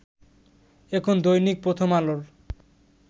এখন দৈনিক প্রথম আলোর